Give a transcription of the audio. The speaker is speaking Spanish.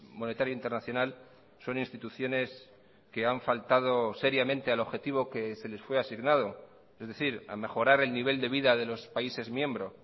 monetario internacional son instituciones que han faltado seriamente al objetivo que se les fue asignado es decir a mejorar el nivel de vida de los países miembro